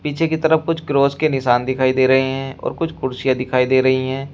पीछे की तरफ कुछ क्रॉस के निशान दिखाई दे रहे हैं और कुछ कुर्सियां दिखाई दे रही हैं।